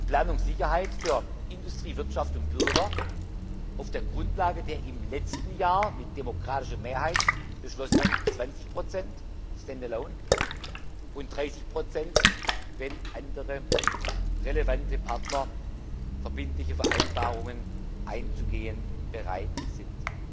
Planungssicherheit für Industrie, Wirtschaft und Bürger auf der Grundlage der im letzten Jahr mit demokratischer Mehrheit beschlossenen 20 stand alone und 30 wenn andere relevante Partner verbindliche Vereinbarungen einzugehen bereit sind.